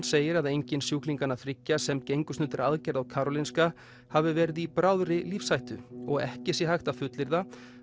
segir að enginn sjúklinganna þriggja sem gengust undir aðgerð á Karolinska hafi verið í bráðri lífshættu og ekki sé hægt að fullyrða